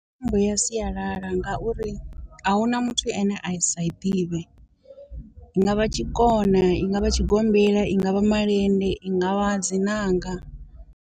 Mitambo ya sialala ngauri a huna muthu ane a i sa i ḓivhe, i ngavha tshikona i ngavha tshigombela i ngavha malende i ngavha dzi nanga.